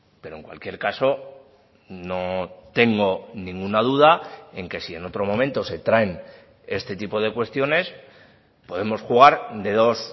pero en cualquier caso no tengo ninguna duda en que si en otro momento se traen este tipo de cuestiones podemos jugar de dos